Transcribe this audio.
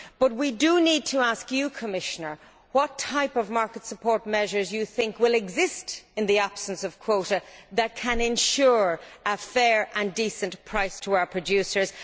But we need to ask you, Commissioner, what type of market support measures do you think will exist in the absence of quotas that can ensure a fair and decent price to our producers?